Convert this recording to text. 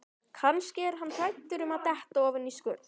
Kannski er hann hræddur um að detta ofan í skurð.